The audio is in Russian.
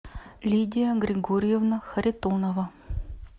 лидия григорьевна харитонова